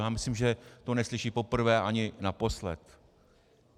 Já myslím, že to neslyší poprvé ani naposled.